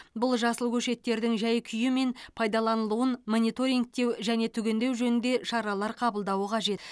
бұл жасыл көшеттердің жай күйі мен пайдаланылуын мониторингтеу және түгендеу жөнінде шаралар қабылдауы қажет